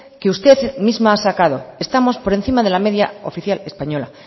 que usted misma ha sacado estamos por encima de la media oficial española